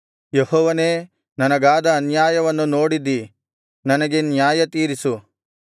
ಯೆಹೋವನೇ ನನಗಾದ ಅನ್ಯಾಯವನ್ನು ನೋಡಿದ್ದೀ ನನಗೆ ನ್ಯಾಯತೀರಿಸು